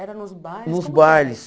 Era nos bailes? Nos bailes